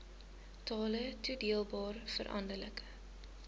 totale toedeelbare veranderlike